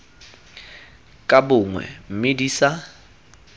ka bongwe mme di sa